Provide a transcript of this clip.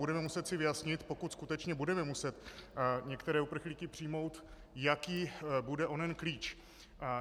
Budeme si muset vyjasnit, pokud skutečně budeme muset některé uprchlíky přijmout, jaký bude onen klíč.